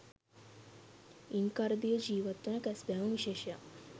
ඉන් කරදියේ ජීවත් වන කැස්බෑවුන් විශේෂක්